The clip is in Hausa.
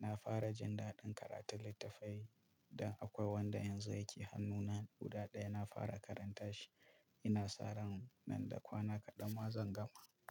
Na fara jin daɗin karatun littattafai dan akwai wanda yanzu yake hannuna guda ɗaya, na fara karanta shi. Ina sa ran nan da kwana kaɗan ma zan gama.